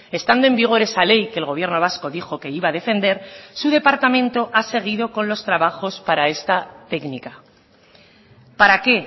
estando en vigor esa ley que el gobierno vasco dijo que iba a defender su departamento ha seguido con los trabajos para esta técnica para qué